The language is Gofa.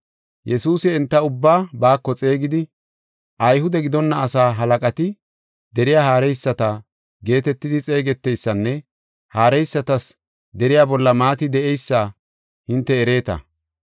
Yesuusi enta ubbaa baako xeegidi, “Ayhude gidonna asaa halaqati deriya haareyisata geetetidi xeegeteysanne haareysatas deriya bolla maati de7eysa hinte ereeta.